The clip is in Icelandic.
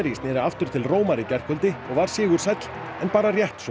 sneri aftur til Rómar í gærkvöldi og var sigursæll en bara rétt svo